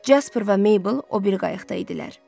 Casper və Meybl o biri qayıqda idilər.